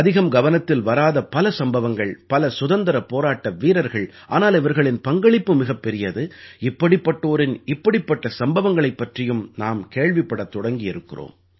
அதிகம் கவனத்தில் வராத பல சம்பவங்கள் பல சுதந்திரப் போராட்ட வீரர்கள் ஆனால் இவர்களின் பங்களிப்பு மிகப் பெரியது இப்படிப்பட்டோரின் இப்படிப்பட்ட சம்பவங்களைப் பற்றியும் நாம் கேள்விப்படத் தொடங்கியிருக்கிறோம்